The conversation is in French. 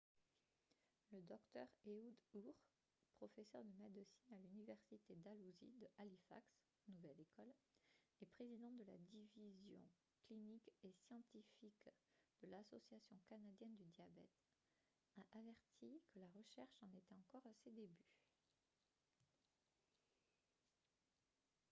le dr ehud ur professeur de médecine à l'université dalhousie de halifax nouvelle-écosse et président de la division clinique et scientifique de l'association canadienne du diabète a averti que la recherche en était encore à ses débuts